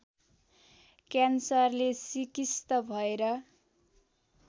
क्यान्सरले सिकिस्त भएर